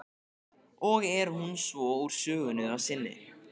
Og er hún svo úr sögunni að sinni.